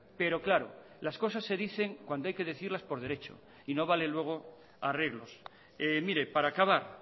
pero claro las cosas se dicen cuando hay que decirlas por derecho y no vale luego arreglos mire para acabar